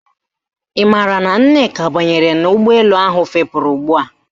Ị maara na Nneka banyere n'ụgbọelu ahụ fepuru ugbua